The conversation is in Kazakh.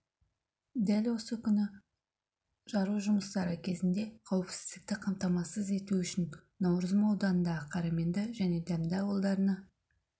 дәл осы күні жару жұмыстары кезінде қауіпсіздікті қамтамасыз ету үшін науырзым ауданындағы қараменді және дәмді ауылдарына